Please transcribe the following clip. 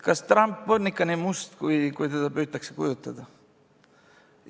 Kas Trump on ikka nii must, kui teda püütakse kujutada?